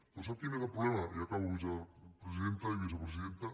però sap quin és el problema i acabo presidenta i vicepresidenta